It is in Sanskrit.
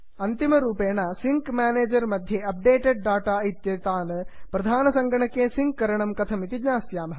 अन्तिमरूपेण सिङ्क् म्यानेजर् मध्ये अप्डेटेड् डाटा इत्येतान् प्रधानसङ्गणके सिङ्क् करणं कथम् इति ज्ञास्यामः